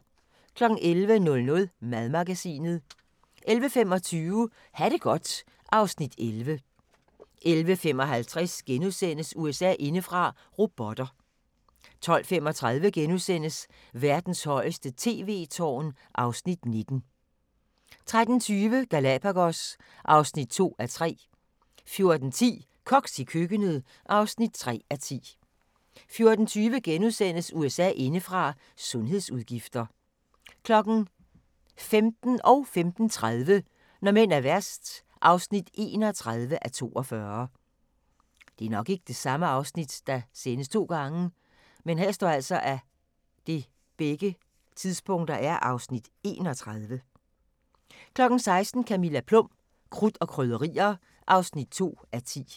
11:00: Madmagasinet 11:25: Ha' det godt (Afs. 11) 11:55: USA indefra: Robotter * 12:35: Verdens højeste tv-tårn (Afs. 19)* 13:20: Galapagos (2:3) 14:10: Koks i køkkenet (3:10) 14:20: USA indefra: Sundhedsudgifter * 15:00: Når mænd er værst (31:42) 15:30: Når mænd er værst (31:42) 16:00: Camilla Plum – Krudt og Krydderier (2:10)